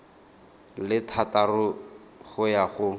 le thataro go ya go